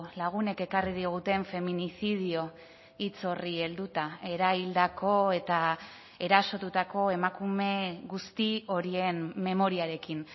lagunek ekarri diguten feminicidio hitz horri helduta eraildako eta erasotutako emakume guzti horien memoriarekin